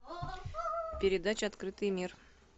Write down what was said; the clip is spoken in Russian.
передача открытый мир